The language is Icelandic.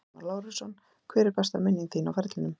Aron Þormar Lárusson Hver er besta minning þín á ferlinum?